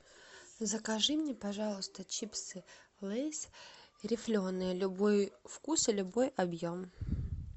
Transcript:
закажи мне пожалуйста чипсы лейс рифленые любой вкус и любой объем